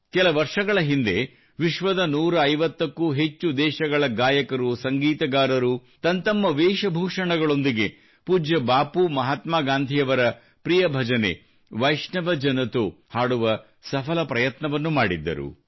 ಕೆಲ ವರ್ಷಗಳ ಹಿಂದೆ ವಿಶ್ವದ 150 ಕ್ಕೂ ಹೆಚ್ಚು ದೇಶಗಳ ಗಾಯಕರು ಸಂಗೀತಗಾರರು ತಂತಮ್ಮ ವೇಷ ಭೂಷಣಗಳೊಂದಿಗೆ ಪೂಜ್ಯ ಬಾಪು ಪ್ರಿಯ ಮಹಾತ್ಮಾ ಗಾಂಧಿಯವರ ಪ್ರಿಯ ಭಜನೆ ವೈಷ್ಣವ ಜನತೋ ಹಾಡುವ ಸಫಲ ಪ್ರಯತ್ನವನ್ನು ಮಾಡಿದ್ದರು